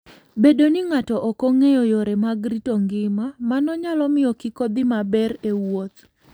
Bedo ni ng'ato ok ong'eyo yore mag rito ngima, mano nyalo miyo kik odhi maber e wuoth.